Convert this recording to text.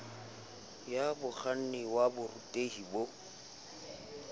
ya mokganni wa borutehi bo